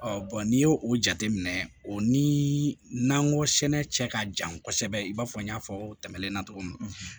n'i y'o jateminɛ o ni n'an ko sɛnɛ cɛ ka jan kosɛbɛ i b'a fɔ n y'a fɔ o tɛmɛnen na cogo min